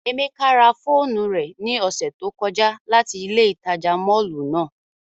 Emeka ra foonu re ni ose to koja lati ile itaja mọllu nàa